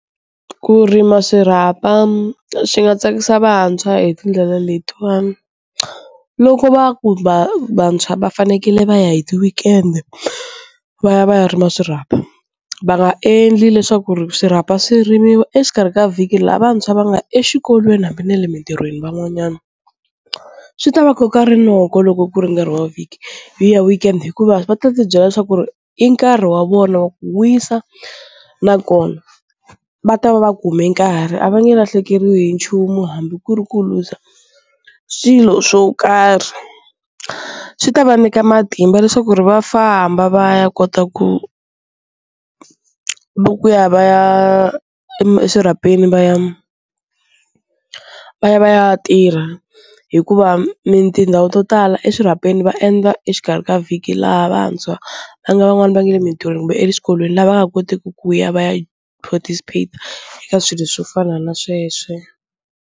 Ku rima swirhapa swi nga tsakisa vantshwa hi tindlela letiwani loko va ku vantshwa va fanekele va ya hi ti weekend va ya va ya ri ma swirhapa va nga endli leswaku swirhapa swirimiwa exikarhi ka vhiki laha vantshwa va nga exikolweni hambi na le mintirhweni, van'wanyana swi ta va koka rinoko loko ku ri nkarhi wa vhiki hi ya weekend hikuva va ta ti byela leswaku ri i nkarhi wa vona wa ku wisa nakona va ta va va kume nkarhi a va nge lahlekeriwi hi nchumu hambi ku ri ku luza swilo swo karhi, swi ta va nyika matimba leswaku ri va famba va ya kota ku ku va ku ya va ya eswirhapeni va ya va ya va ya tirha hikuva tindhawu to tala eswirhapeni va endla exikarhi ka vhiki laha vantshwa va nga van'wani va nga le mintirhweni kumbe eswikolweni lava nga koteki ku ya va ya participate eka swilo swo fana na sweswo.